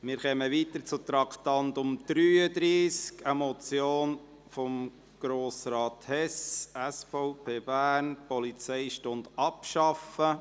Wir kommen zum Traktandum 33, einer Motion von Grossrat Hess, SVP, Bern: «Polizeistunde abschaffen».